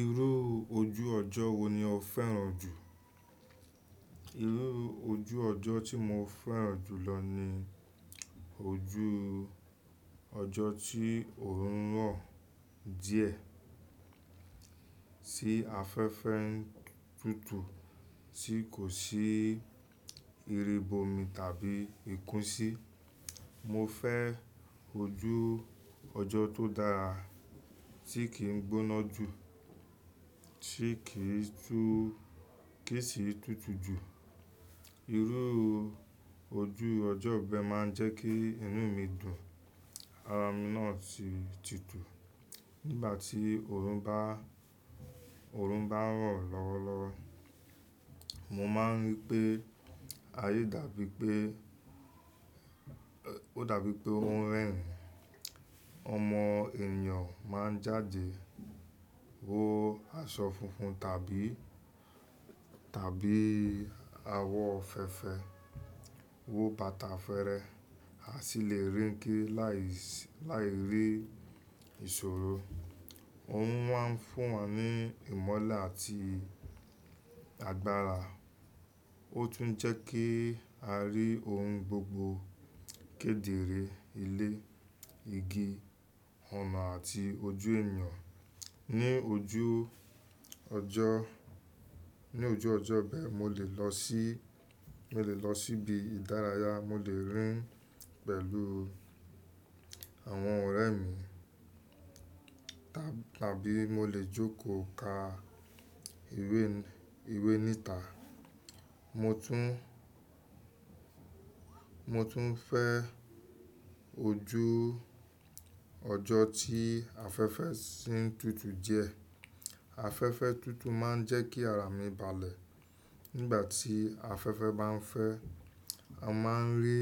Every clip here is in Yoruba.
Irú ojú ọjọ́ wo ni o fẹ́ràn jù? Irú ojú ọjọ́ tí mo fẹ́ràn jù lọ ni ojú ọjọ́ tí òórùn rọ̀ díẹ̀ sí afẹ́fẹ́ ń tutù tí kò sí ìrìbọmi tàbí ìkún sí. Mo fẹ́ ojú ọjọ́ tó dára tí kì í gbóná jù, tí kì í tú— kì í sì tùtù jù. Irú ojú ọjọ́ bẹ máa ń jẹ́ kí inú mi dùn, ara mi náà sì tutù. Nígbà tí òórùn bá, òórùn bá ń rọ̀ lọ́wọ́lọ́wọ́, mo máa ń rí pé ayé dàbí pé, ó dàbí pé ohun rẹ̀hìn. Ọmọ ènìyàn máa ń jáde wo aṣọ funfun tàbí, tàbí àwọ̀ fèfè, wo bàtà fèrè, a sì lè rìn kiri láìsí, láì rí ìṣòro. Òun má ń fún wa ní ìmọ́le àti agbára. Ó tún ń jẹ́ kí a rí ohun gbogbo kédere: ilé, igi, ọ̀nà àti ojú ènìyàn. Ni ojú ọjọ́, ní ojú ọjọ́ bẹ, mo lè lọ sí, mo lè lọ síbi ìdárayá, mo lè rìn pẹ̀lú àwọn ọ̀rẹ́ mi tábí mo lè jókòó ka ìwé, ìwé níta. Mo tún, mo tún fẹ́ ojú ọjọ́ tí afẹ́fẹ́ sì ń tutù díẹ̀. Afẹ́fẹ́ tutù máa ń jẹ́ kí ara mi balẹ̀. Nígbà tí afẹ́fẹ́ bá ń fẹ́, a máa ń rí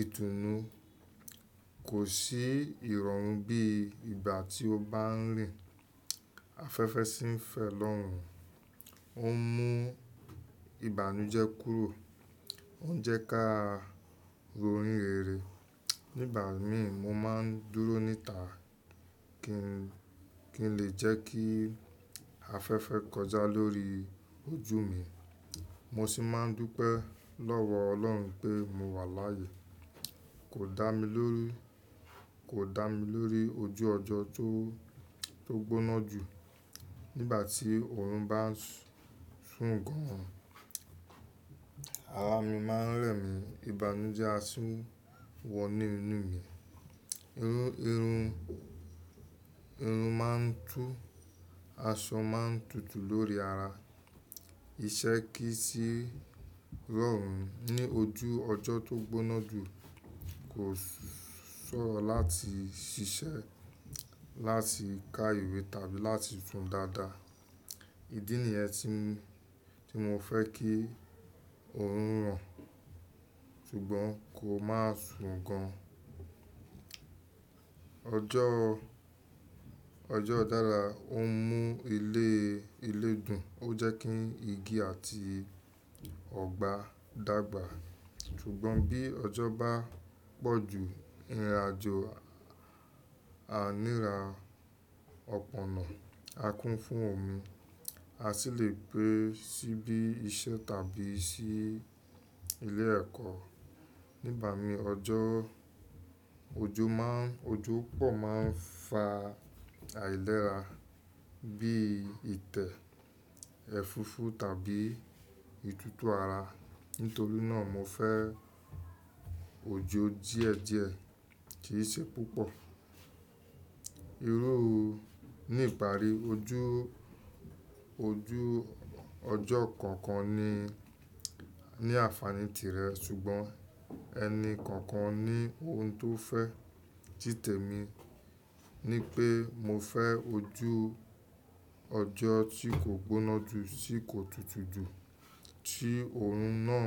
ìtùnú. Kò sí ìrọ̀rùn bí ìgbà tí ó bá ń rìn. Afẹ́fẹ́ sì ń fẹ́ lọ́run, ó ń mú ìbànújẹ́ kúrò, ó ń jẹ́ ká ro orín rere. Nígbà mi, mo máa ń dúró níta kí n, kí n lè jẹ́ kí afẹ́fẹ́ kọjá lórí ojú mi. Mo sì máa ń dúpẹ́ lọ́wọ́ Ọlọ́run pé mo wà láàyè, kò dá mi lórí, kò dá mi lórí ojú ọjọ́ tó, tó gbóná jù. Nígbà tí òórùn bá ń sùn gan an, ara mi máa ń rẹ̀mí, ìbànújẹ́ á sì wọ inú mi. Irun, irun, irun máa ń tú, aṣọ máa ń tutù lórí ara. Iṣẹ́ kì í sì rọrùn ní ojú ọjọ́ tó gbóná jù. Kò ṣòro láti ṣiṣẹ́, láti ka ìwé tàbí láti sùn dáadáa. Ídí nìyẹn tí, tí mo fẹ́ kí òórùn rọ̀ ṣùgbọ́n kò máa sùn gan an. Ọjọ́, ọjọ́ dára, ó ń mú ilé, ilé dùn, ó jẹ́ kí igi àti ọgbà dàgbà. Ṣùgbọ́n bí ọjọ́ bá pọ̀jù, ìrìnàjò a níra, ọpọ́nà á kún fún omi, a sì lè pé síbí iṣẹ́ tàbí sí ilé ẹ̀kọ́. Nígbà mi ọjọ́, ojú má ń, ojú pọ̀ má ń fa àìlera bí i tẹ ẹ̀fúfú tàbí ìtútù ara. Nítorí náà mo fẹ́ ojú díẹ̀díẹ̀ kì í ṣe púpọ̀. Irú, ní ìparí ojú, ojú ọjọ́ kọ̀ọ̀kan ní, ní àfààní tirẹ̀ ṣùgbọ́n ẹni kọ̀ọ̀kan ní ohun tó fẹ́. Títẹ̀ mi ni pé mo fẹ́ ojú ọjọ́ tí kò gbóná jù, tí kò tutù jù, tí òórùn náà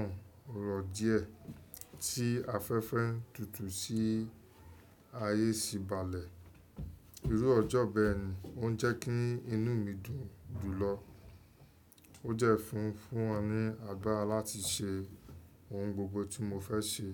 rọ̀ díẹ̀, tí afẹ́fẹ́ ń tutù sì ayé sì balẹ̀. Irú ọjọ́ bẹ ni ó ń jẹ́ kí inú mi dùn jùlọ. Ó dẹ́ fun fún wa ní agbára láti ṣe ohun gbogbo tí mo fẹ́ ṣe.